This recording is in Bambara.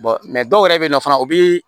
dɔw yɛrɛ bɛ yen nɔ fana o bi